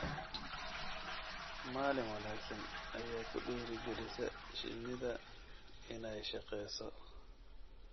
Maalin wanaagsan ayaa ku dhiirigelisa shinida inay shaqeyso.